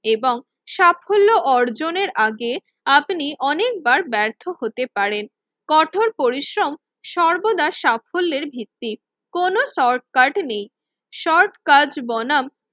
এবং সাফল্য অর্জনের আগে আপনি অনেকবার ব্যর্থ হতে পারেন। কঠোর পরিশ্রম সর্বদা সাফল্যের ভিত্তি, কোন শর্টকাট নেই। শর্ট কাজ বনাম